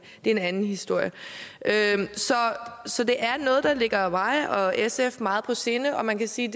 det er en anden historie så det er noget der ligger mig og sf meget på sinde og man kan sige